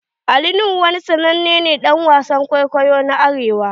Ali Nuhu wani sannanen dan wasan kwaikwayo ne a arewa.